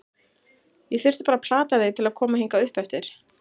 Ég þurfti bara að plata þig til að koma hingað uppeftir.